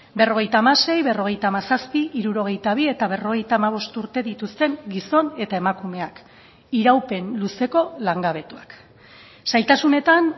berrogeita hamasei berrogeita hamazazpi hirurogeita bi eta berrogeita hamabost urte dituzten gizon eta emakumeak iraupen luzeko langabetuak zailtasunetan